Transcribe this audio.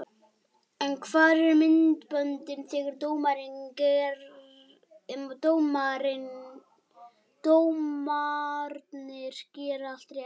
En hvar eru myndböndin þegar dómararnir gera allt rétt?